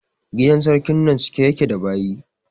Gidan sarkin nan cike ya ke da baƴi